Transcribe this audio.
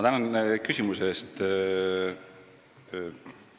Tänan küsimuse eest!